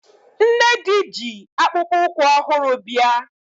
Nnedi ji akpụkpụ ụkwụ ọhụrụ bịa